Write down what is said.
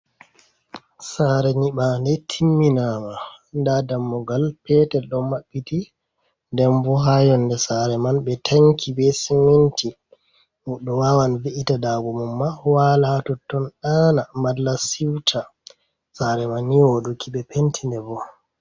Sare nyiɓa nde timminama. Nda dammugal petel ɗo mabbiti. Nden bo ha yonde sare man ɓe tanki be siminti. Goɗɗo wawan ve’ita daago mum ma wala totton ɗana malla siuta. Sare man ni woɗuki ɓe penti nde bo.